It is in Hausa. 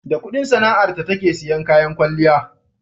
da Ƙudin sana'ar ta take siyan kayan kwalliya